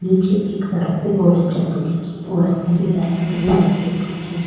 नीचे सड़क में एक औरत जाती दिखे री औरत ने पीला रंग की साड़ी पहनी दिखे री।